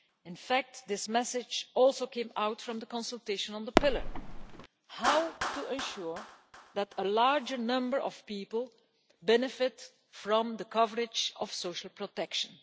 In fact, this message also came out from the consultation on the Pillar how to ensure that a larger number of people benefit from the coverage of social protection.